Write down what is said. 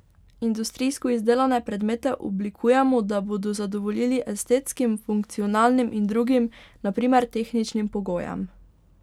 Industrijsko izdelane predmete oblikujemo, da bodo zadovoljili estetskim, funkcionalnim in drugim, na primer, tehničnim pogojem.